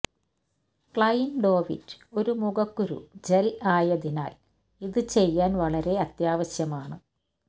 ക്ലൈൻഡോവിറ്റ് ഒരു മുഖക്കുരു ജെൽ ആയതിനാൽ ഇത് ചെയ്യാൻ വളരെ അത്യാവശ്യമാണ്